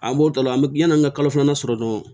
An b'o da la an bɛ yanni an ka kalo filanan sɔrɔ dɔrɔn